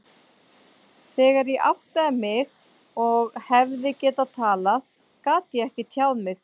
Þegar ég áttaði mig og hefði getað talað, gat ég ekki tjáð mig.